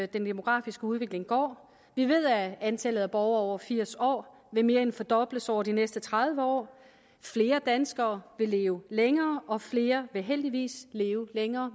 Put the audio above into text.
demografiske udvikling går vi ved at antallet af borgere over firs år vil mere end fordobles over de næste tredive år flere danskere vil leve længere og flere vil heldigvis leve længere